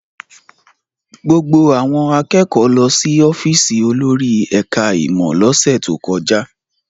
Gbogbo àwọn akẹ́kọ̀ọ́ lọ sí ọ́fíísì olórí ẹ̀ka-ìmọ̀ lọ́sẹ̀ tó kọjá.